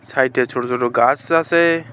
হাইটে ছোট ছোট গাস আসে।